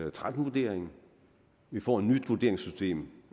og tretten vurderingen at vi får et nyt vurderingssystem